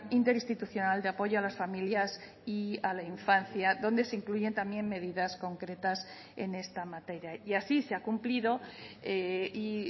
interinstitucional de apoyo a las familias y a la infancia donde se incluyen también medidas concretas en esta materia y así se ha cumplido y